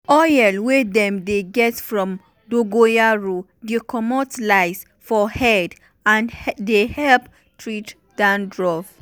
oil wey dem dey get from dongoyaro dey comot lice for head and dey help treat dandruff.